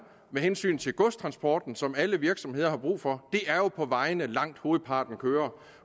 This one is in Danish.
med hensyn til godstransporten som alle virksomheder har brug for det er på vejene langt hovedparten kører